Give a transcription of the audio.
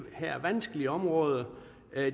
her vanskelige område